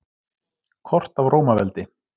Kort af Rómaveldi.